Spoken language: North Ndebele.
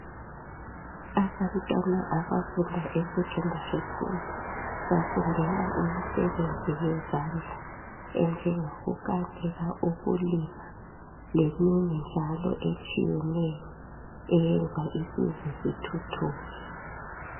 Abantwana abafunda esecondary school, bafundela imisebenzi yezandla enjengokukanika , ukulima leminye njalo eyenza isizwe sithuthuke.